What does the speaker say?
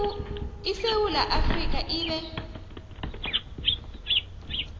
isewula afrika ibe